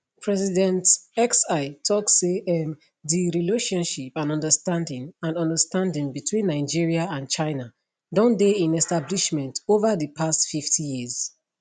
president xi tok say um di relationship and understanding and understanding between nigeria and china don dey in establishment ova di past 50 years